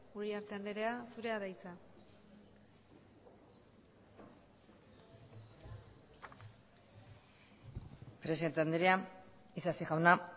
uriarte andrea zurea da hitza presidente andrea isasi jauna